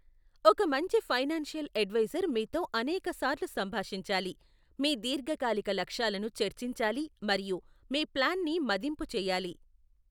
ఒక మంచి financial advisor మీతో అనేకసార్లు సంభాషించాలి, మీ దీర్ఘకాలిక లక్ష్యాలను చర్చించాలి మరియు మీ ప్లాన్ని మదింపు చేయాలి.